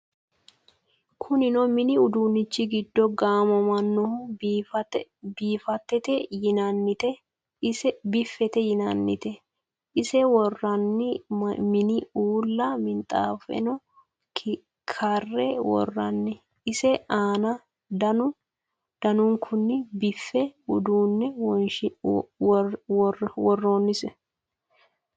Kuninno minni uduunichi giddo gaamamannohu biffette yinnannitte. Ise woroonni minni uulla minxaaffenno karre woroonni. ise aanna danu danunkunni biiffu uduunne woroonnise.